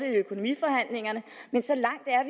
økonomiforhandlingerne men så langt er